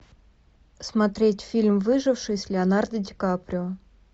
смотреть фильм выживший с леонардо ди каприо